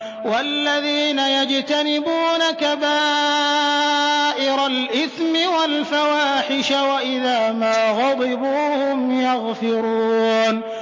وَالَّذِينَ يَجْتَنِبُونَ كَبَائِرَ الْإِثْمِ وَالْفَوَاحِشَ وَإِذَا مَا غَضِبُوا هُمْ يَغْفِرُونَ